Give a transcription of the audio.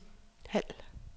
halv